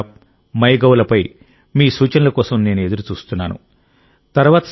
నమో app MyGov లపై మీ సూచనల కోసం నేను ఎదురు చూస్తున్నాను